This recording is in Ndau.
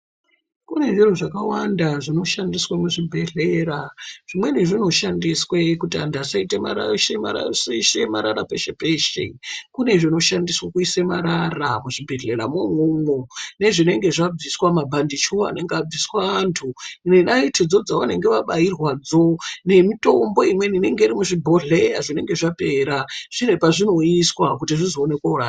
Kune zviro zvakawanda zvinoshandiswe muzvibhehlera zvimweni zvinoshandiswe kuti anhu asarashe marara peshe peshe kune zvineshandiswe kuise marara muzvibhehleya mwo imwomwo nezvinenge zvabviswa mabhandechu anenge abviswa anhu nenaiti dzo dzaanenge abairwa dzo nemitombo imweni inenge iri muzvibhohleya zvinenge zvapera zvine kwazvinouyiswa kuti zvizoone koorashwa.